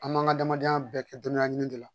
An b'an ka adamadenya bɛɛ kɛ dɔnniya ɲini de la